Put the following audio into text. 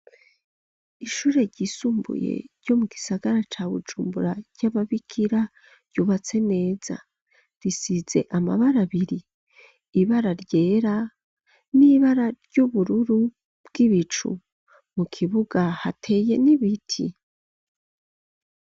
Ishure ryisumbuye, ryo mu gisagara ca Bujumbura, ry'ababikira, ryubatse neza, risize amabara abiri, ibara ryera, n'ibara ry'ubururu bw'ibicu, mu kibuga, hateye n'ibiti.